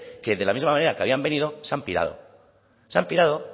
que de la misma manera que habían venido se han pirado se han pirado